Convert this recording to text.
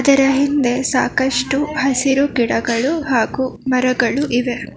ಇದರ ಹಿಂದೆ ಸಾಕಷ್ಟು ಹಸಿರು ಗಿಡಗಳು ಹಾಗೂ ಮರಗಳು.